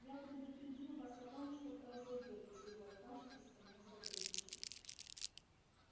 я предупредил вас о том что произойдёт если вы откажетесь со мной сотрудничать